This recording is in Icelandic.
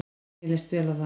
Mér leist vel á það.